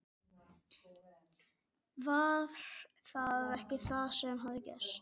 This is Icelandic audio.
Var það ekki það sem hafði gerst?